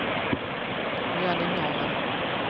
Jonny Norrman